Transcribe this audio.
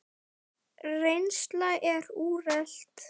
Reynsla er úrelt.